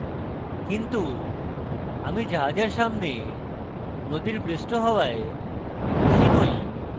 কিন্তু আমি জাহাজের সামনে নদীর পৃষ্ঠ হওয়ায় খুশী নই